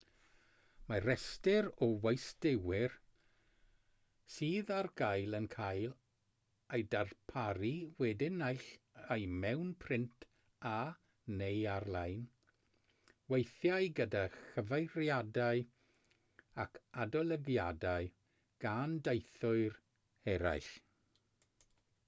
mae rhestr o westeiwyr sydd ar gael yn cael ei darparu wedyn naill ai mewn print a/neu ar-lein weithiau gyda chyfeiriadau ac adolygiadau gan deithwyr eraill